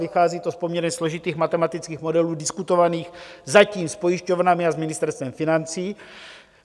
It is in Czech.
Vychází to z poměrně složitých matematických modelů diskutovaných zatím s pojišťovnami a s Ministerstvem financí.